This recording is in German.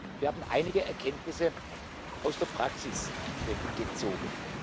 Wir haben einige Erkenntnisse aus der Praxis gezogen.